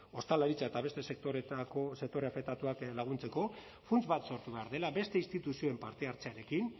ostalaritza eta beste sektore afektatuak laguntzeko funts bat sortu behar dela beste instituzioen partehartzearekin